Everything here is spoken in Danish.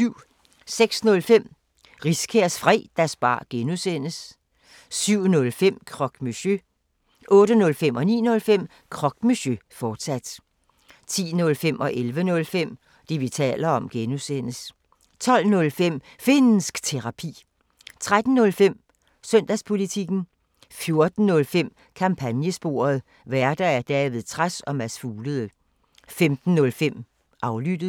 06:05: Riskærs Fredagsbar (G) 07:05: Croque Monsieur 08:05: Croque Monsieur, fortsat 09:05: Croque Monsieur, fortsat 10:05: Det, vi taler om (G) 11:05: Det, vi taler om (G) 12:05: Finnsk Terapi 13:05: Søndagspolitikken 14:05: Kampagnesporet: Værter: David Trads og Mads Fuglede 15:05: Aflyttet